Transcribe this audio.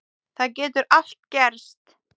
Það getur allt gerst.